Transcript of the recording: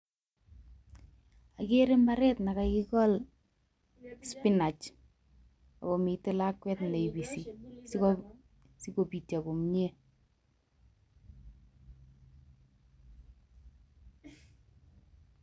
Kigeere ngw'ek chekakikol spinach, akomiten lakwet neibisi sikobityoo komie